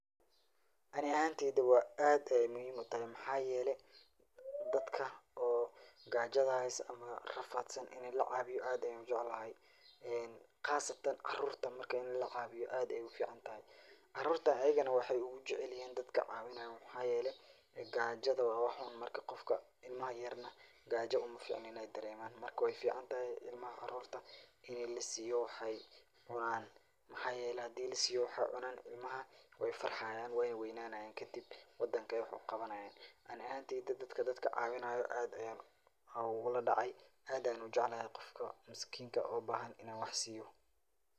Ani ahanteyda wa aad Aya muhim utahy maxayelahay dadaka oo gaajo amah rafatsan ini la cabiyoh aad Aya u jeclahay een qaasatan caruurta ini lacaweyoh aad Aya u ficantahay caruurta ayagana waxay ugu jacelayahin dadka cawainayo waxayeelay gajada wa wax xuun marka qaofka ilamaha yaryar gajo umaficno inay dareeman, marka wayficantahay ilmaha caruurta ini lassiyoh waxay cunanan maxayeelay handi lassiyoh waxay cunanan ilmaha way farxayaan, Wana weynanayen kadib wadanga Aya wax qawanayan Anika ahanteyda dadka dadkacaweenayoh aad Aya uludacay aad Aya u jeeclahay Qoofka miskinga oo bahan ini wax siiyeh.